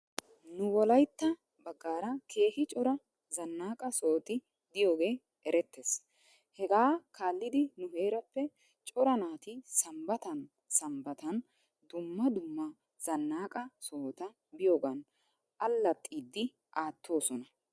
Nu wolaytta baggaara keehi cora zannaqa sohoti diyoogee erettes. Hegaa kaallidi nu heerappe cora naati sambbatan sambbatan dumma dumma zannaqa sohota biyoogan allaxiidi aattoosona.